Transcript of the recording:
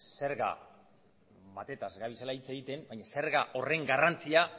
zerga batetaz ari zarela hitz egiten baina zerga horren garrantzia